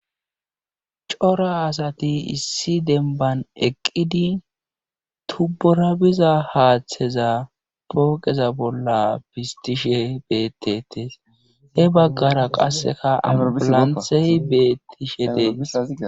cora asati issi dembban eqqidi tubbora biza haatheza pooqeza bolla pistishe beetettes he baggara qassika auroplanthey beethishe dees.